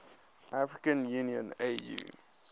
african union au